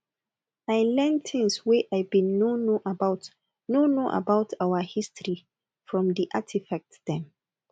i learn tins wey i bin no know about no know about our history from di artifacts dem